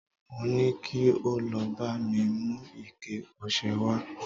mo ni kí o lọ ba mi mu ike ọsẹ wa